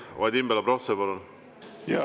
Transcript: Vadim Belobrovtsev, palun!